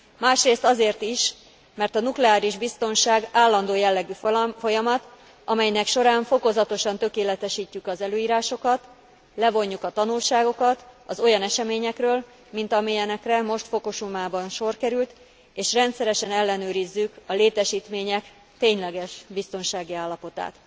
Másrészt azért is, mert a nukleáris biztonság állandó jellegű folyamat, amelynek során fokozatosan tökéletesítjük az előírásokat, levonjuk a tanulságokat az olyan eseményekről, mint amilyenekre most Fukusimában sor került, és rendszeresen ellenőrizzük a létesítmények tényleges biztonsági állapotát.